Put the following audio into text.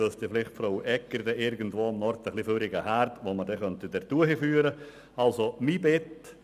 Vielleicht kennt Frau Egger irgendwo ein bisschen überflüssige Erde, die man in die Region hochführen könnte.